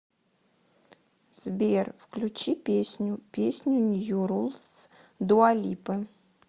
сбер включи песню песню нью рулс дуалипы